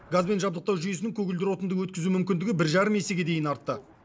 газбен жабдықтау жүйесінің көгілдір отынды өткізу мүмкіндігі бір жарым есеге дейін артты